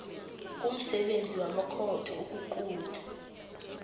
kumsebenzi wamakhotho ukuqunta